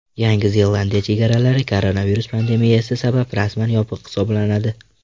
Yangi Zelandiya chegaralari koronavirus pandemiyasi sabab rasman yopiq hisoblanadi.